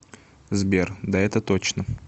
сбер да это точно